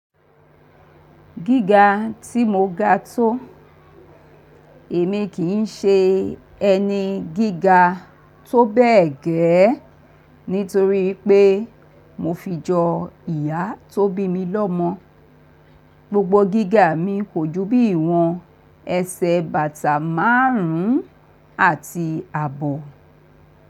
Gíga tí mo ga tó, èmi kì í ṣe ẹni gíga tó bẹ́ẹ̀ gẹ́ẹ́ nítorí pé mo fi jọ ìyá tó bí mi lọ́mọ. Gbogbo gíga mi kò ju bí i wọn ẹsẹ̀ bàtà márùn-ún àti àbọ̀.